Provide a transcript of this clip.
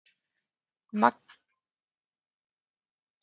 Magnús Hlynur Hreiðarsson: Gaman þegar unga fólkið hugsar um gamla fólkið?